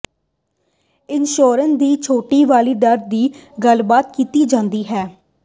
insurer ਦੀ ਛੋਟ ਵਾਲੀ ਦਰ ਦੀ ਗੱਲਬਾਤ ਕੀਤੀ ਜਾਂਦੀ ਹੈ